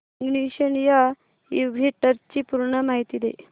ignition या इव्हेंटची पूर्ण माहिती दे